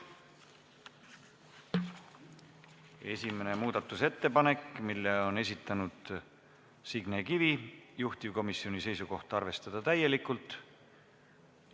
Esimene muudatusettepanek, mille on esitanud Signe Kivi, juhtivkomisjoni seisukoht: arvestada täielikult.